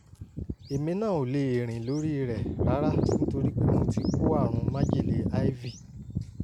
èmi náà ò lè rìn lórí rẹ̀ rárá nítorí pé mo ti kó àrùn májèlé ivy